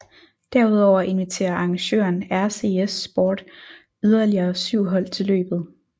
Derudover inviterer arrangøren RCS Sport yderlige syv hold til løbet